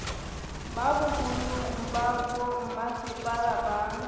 ba boholong ba bommasepala ba